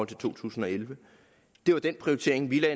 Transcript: to tusind og elleve det var den prioritering vi lagde